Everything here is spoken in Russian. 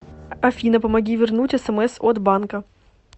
афина помоги вернуть смс от банка